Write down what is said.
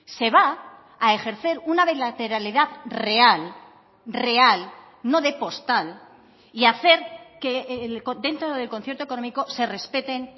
se va a ejercer una bilateralidad real real no de postal y hacer que dentro del concierto económico se respeten